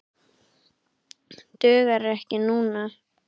Dugar ekki núna.